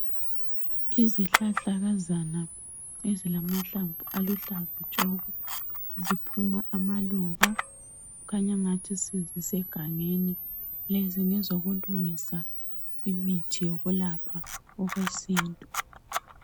Izihlahlakazana ezilamahlamvu aluhlaza tshoko ziphuma amaluba kukhanya angathi zisegangeni lezi ngezokulungisa imithi yokwelapha okwesintu.